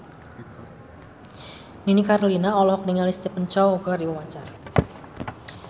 Nini Carlina olohok ningali Stephen Chow keur diwawancara